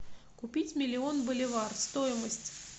купить миллион боливар стоимость